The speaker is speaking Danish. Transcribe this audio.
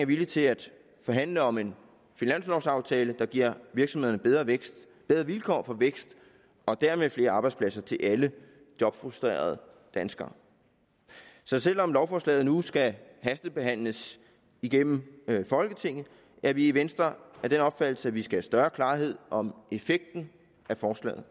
villig til at forhandle om en finanslovaftale der giver virksomhederne bedre vilkår for vækst og dermed flere arbejdspladser til alle jobfrustrerede danskere så selv om lovforslaget nu skal hastebehandles igennem folketinget er vi i venstre af den opfattelse at vi skal have større klarhed om effekten af forslaget